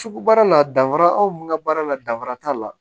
Sugu baara la danfara anw ka baara la danfara t'a la